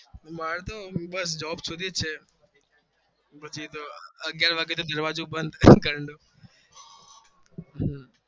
મારતો બસ નોકરી સુધી જ છે અગિયાર વાગે તો દરવાજો બધ ઘર નો